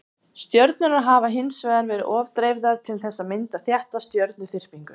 stjörnurnar hafa hins vegar verið of dreifðar til þess að mynda þétta stjörnuþyrpingu